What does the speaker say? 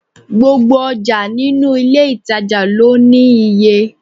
Gbogbo ọjà nínú ilé ìtàjà lọ ní iye.